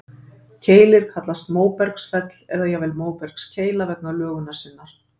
Keilir kallast móbergsfell, eða jafnvel móbergskeila vegna lögunar sinnar.